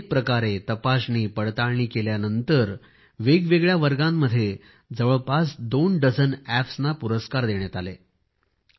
अनेक प्रकारे तपासणीपडताळणी केल्यानंतर वेगवेगळ्या वर्गांमध्ये जवळपास दोन डझन अॅप्सना पुरस्कारही देण्यात आले आहेत